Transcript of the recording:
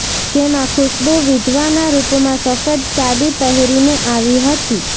જેમાં ખુશ્બૂ વિધવાના રૂપમાં સફેદ સાડી પહેરીને આવી હતી